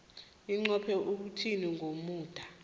inqophe ukuthini ngomuda